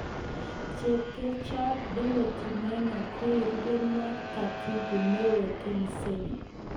Chepkerichot Dorothy Maina koik rubewot Katibu Neo TAMISEMI.